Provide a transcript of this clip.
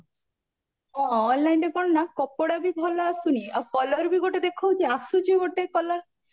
ହଁ onlineରେ କଣ ନା କପଡାବି ଭଲ ଆସୁନି ଆଉ color ବି ଗୋଟେ ଦେଖଉଚି ଆସୁଚି ଗୋଟେ color ପୁଣି